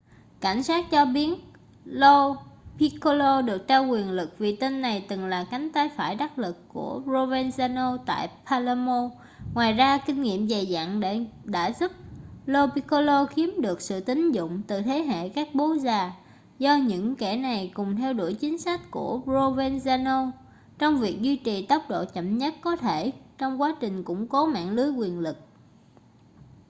cảnh sát cho biết lo piccolo được trao quyền lực vì tên này từng là cánh tay phải đắc lực của provenzano tại palermo ngoài ra kinh nghiệm dày dặn đã giúp lo piccolo chiếm được sự tín nhiệm từ thế hệ các bố già do những kẻ này cùng theo đuổi chính sách của provenzano trong việc duy trì tốc độ chậm nhất có thể trong quá trình củng cố mạng lưới quyền lực